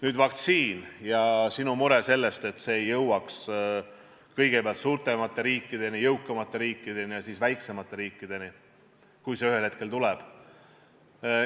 Nüüd, vaktsiin ja sinu mure, et see ei jõuaks kõigepealt suurematesse, jõukamatesse riikidesse ja alles siis väiksematesse riikidesse, kui see ühel hetkel tuleb.